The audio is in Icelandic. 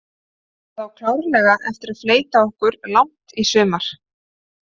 Það á klárlega eftir að fleyta okkur langt í sumar.